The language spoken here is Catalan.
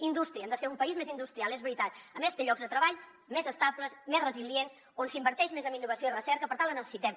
indústria hem de ser un país més industrial és veritat a més fer llocs de treball més estables més resilients on s’inverteix més en innovació i recerca per tant la necessitem